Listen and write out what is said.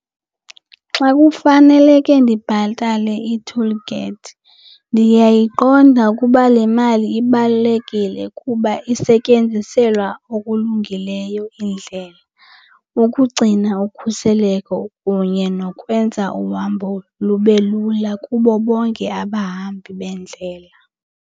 Xa kufaneleke ndibhatale ii-toll gates ndiyayiqonda ukuba le mali ibalulekile kuba isetyenziselwa okulungileyo indlela, ukugcina ukhuseleko kunye nokwenza uhambo lube lula kubo bonke abahambi beendlela.